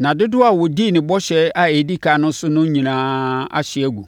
Nna dodoɔ a ɔdii ne bɔhyɛ a ɛdi ɛkan no so no nyinaa ahye agu.